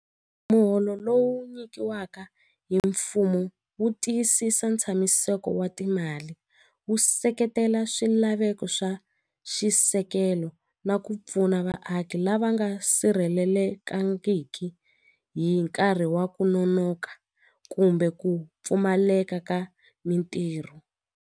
Muholo lowu nyikiwaka hi mfumo wu tiyisisa ntshamiseko wa timali wu seketela swilaveko swa xisekelo na ku pfuna vaaki lava nga sirhelelekangiki hi nkarhi wa ku nonoka kumbe ku pfumaleka ka mitirho.